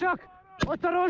İşşok!